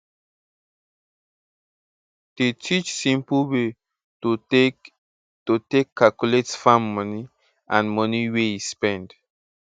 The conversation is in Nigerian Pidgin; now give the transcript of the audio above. dey teach simple way to take to take calculate farm money and money wey e spend